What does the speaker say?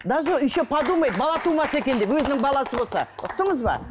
даже еще подумает бала тумаса екен деп өзінің баласы болса ұқтыңыз ба